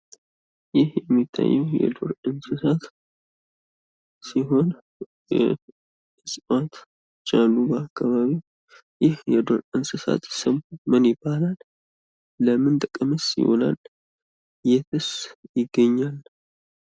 ይህ የሚታዬው የዱር እንሰሳት ሲሆን እፅዋት ጃኑባ አካባቢ ይህ የዱር እንሰሳት ስም ምን ይባላል? ለምን ጥቅምስ ይውላል? የትስ ይገኛል?